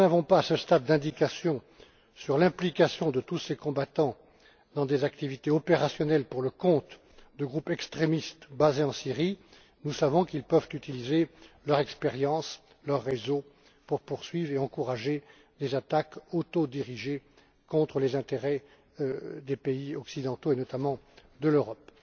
Même si nous n'avons pas, à ce stade, d'indications sur l'implication de tous ces combattants dans des activités opérationnelles pour le compte de groupes extrémistes basés en Syrie, nous savons qu'ils peuvent utiliser leur expérience et leurs réseaux pour poursuivre et encourager les attaques autodirigées contre les intérêts des pays occidentaux et, notamment, de l'Europe.